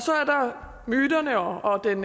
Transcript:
myterne og den